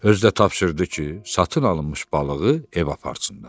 Özü də tapşırdı ki, satın alınmış balığı evə aparsınlar.